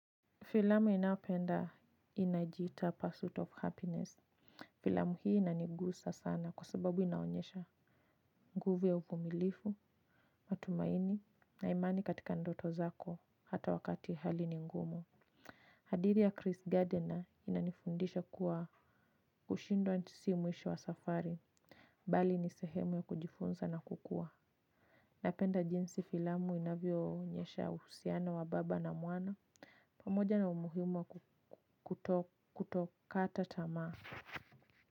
Filamu inayopenda inajiita persuit of happiness. Filamu hii inanigusa sana kwa sababu inaonyesha nguvu ya uvumilifu, matumaini na imani katika ndoto zako hata wakati hali ni ngumu. Hadithi ya Chris Gardner inanifundisha kuwa kushindwa si mwisho wa safari bali ni sehemu ya kujifunza na kukua. Napenda jinsi filamu inavyo onyesha uhusiano wa baba na mwana. Pamoja na umuhimu wa kutokata tama.